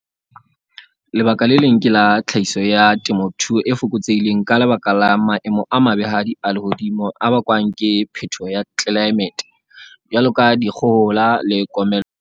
Lebaka le leng ke la tlhahiso ya temothuo e fokotsehileng ka lebaka la maemo a mabehadi a lehodimo a bakwang ke phetoho ya tlelaemete, jwalo ka dikgohola le komello.